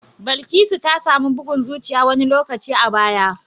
Balkisu ta samu bugun zuciya wani lokaci a baya.